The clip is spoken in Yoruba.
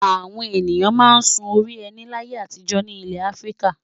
Àwọn ènìyàn máa ń sun orí ẹní láyé àtijọ́ ní ilẹ̀ Áfíríkà.